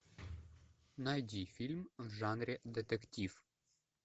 найди фильм в жанре детектив